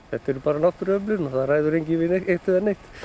þetta eru náttúruöflin og það ræður enginn við þau